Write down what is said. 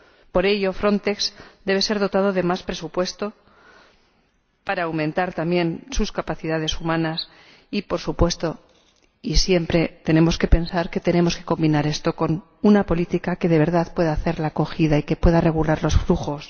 Por ello, Frontex debe ser dotada de más presupuesto para aumentar también sus capacidades humanas y, por supuesto, siempre tenemos que pensar que debemos combinar esto con una política que de verdad pueda dar acogida y pueda regular los flujos.